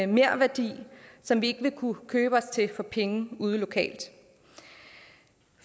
merværdi som vi ikke vil kunne købe os til for penge ude lokalt